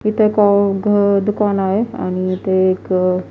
इथे एक घ दुकान आहे आणि इथे एक --